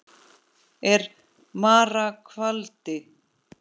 er mara kvaldi.